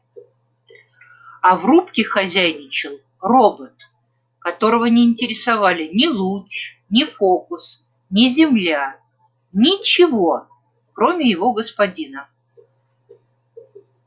а в рубке хозяйничал робот которого не интересовали ни луч ни фокус ни земля ничего кроме его господина